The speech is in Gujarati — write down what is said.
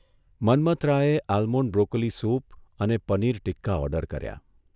મન્મથરાયે આલ્મોંડ બ્રોકોલી સૂપ અને પનીર ટિક્કા ઓર્ડર કર્યા.